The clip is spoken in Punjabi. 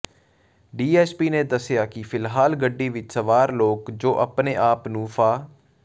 ਡੀਐਸਪੀ ਨੇ ਦੱਸਿਆ ਕਿ ਫਿੱਲਹਾਲ ਗੱਡੀ ਵਿਚ ਸਵਾਰ ਲੋਕ ਜੋ ਆਪਣੇ ਆਪ ਨੂੰ ਫਾ